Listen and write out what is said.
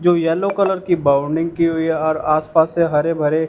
जो yellow colour की bounding की हुई और आस पास से हरे भरे--